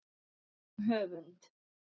Um höfund